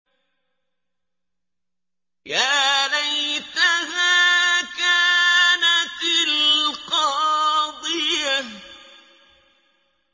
يَا لَيْتَهَا كَانَتِ الْقَاضِيَةَ